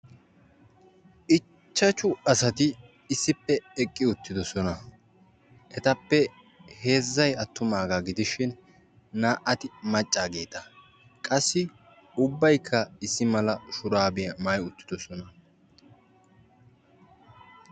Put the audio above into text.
ichashu asati issippe eqqi utiidosona. etappe na'ay attumageeta. qassi ubaykka issi mala shuraabiya maayi uttidosona.